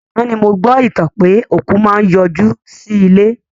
Àná ni mo gbọ́ ìtàn pé òkú máa n yọ jú sí ilé